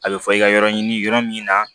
A bɛ fɔ i ka yɔrɔ ɲini yɔrɔ min na